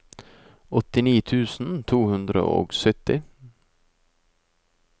åttini tusen to hundre og sytti